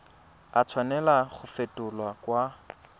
a tshwanela go fetolwa kwa